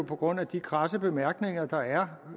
på grund af de kradse bemærkninger der er